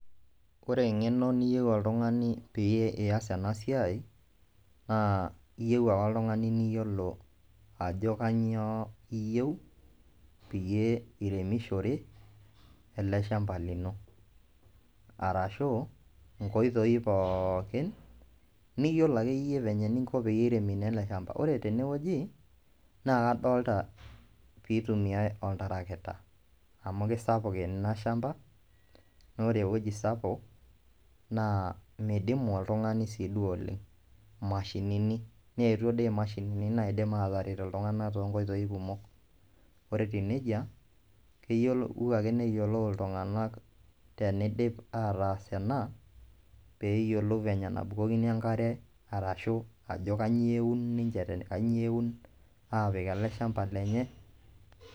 Ore eng'eno niyeu oltung'ani pee iyas ena siai naa iyeu ake oltung'ani niyolo ajo kanyoo iyeu peyie iremishore ele shamba lino arashu nkoitoi pookin niyolo akeyie venye ninko peyie iremi naa ele shamba. Ore tene wueji, naa kadolta piitumiai oltarakita amu kisapuk ena shamba naa ore ewoji sapuk naa midimu oltung'ani sii duo oleng', mashinini neetuo dii mashinini naidim aataret iltung'anak too nkoitoi kumok. Ore etiu neija keyolou ake neyiolou iltung'anak tenidip ataas ena peeyiolou venye nabukokini enkare arashu ajo kanyio euni ninje te kanyio eun aapik ele shamba lenye.